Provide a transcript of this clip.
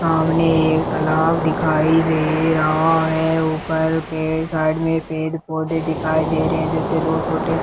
सामने एक तालाब दिखाई दे रहा है ऊपर पेड़ साइड में पेड़ पौधे दिखाई दें रहे है जिससे दो छोटे --